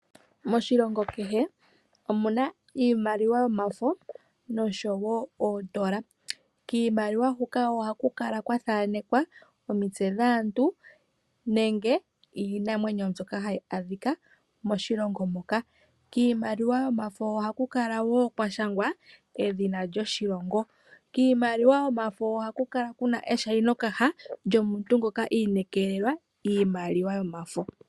Moshilongo kehe omuna iimaliwa yomafo nosho wo oondola. Kiimaliwa huka oha kukala kwathaanekwa omitse dhaantu nenge iinamwenyo mbyoka hayi adhika moshilongo moka. Kiimaliwa yomafo ohalu kala wo kwashangwa edhina lyoshilongo. Kiimaliwa yomafo oha ku kala kuna eshayino kaha yomuntu ngoka iinekelelwa iimaliwa yomafo.